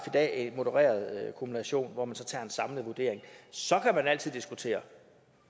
dag en modereret kumulation hvor man så tager en samlet vurdering så kan man altid diskutere